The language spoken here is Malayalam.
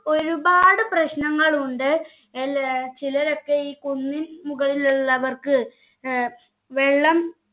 ഒരുപാട് പ്രശ്നങ്ങൾ ഉണ്ട് അല്ലെ ചിലരൊക്കെ ഈ കുന്നിൻ മുകളിലുള്ളവർക്ക് ഏർ വെള്ളം